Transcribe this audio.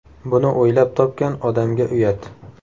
Buni o‘ylab topgan odamga uyat!